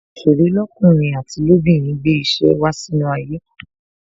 Àwọn òsèré lọkunrin àti lobinrin gbé ìṣe wá sínú ayé